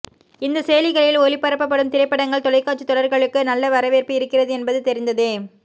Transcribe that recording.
இந்த செயலிகளில் ஒளிபரப்பப்படும் திரைப்படங்கள் தொலைக்காட்சித் தொடர்களுக்கு நல்ல வரவேற்பு இருக்கிறது என்பது தெரிந்ததே